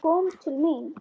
Hún kom til mín.